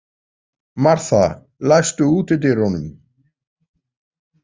Martha, læstu útidyrunum.